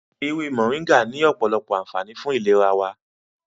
Ewé Mọ̀ríngà ní ọ̀pọ̀lọpọ̀ ànfààní fún ìlera wa.